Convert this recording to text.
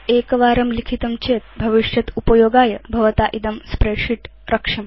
एकवारं लिखितं चेत् भविष्यदुपयोगाय भवता इदं भवदीयं स्प्रेडशीट् रक्ष्यम्